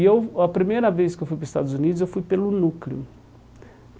Eu a primeira vez que eu fui para os Estados Unidos, eu fui pelo Núcleo.